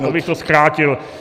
Aha, to bych to zkrátil.